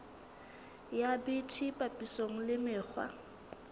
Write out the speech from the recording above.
ya bt papisong le mekgwa